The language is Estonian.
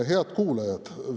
Head kuulajad!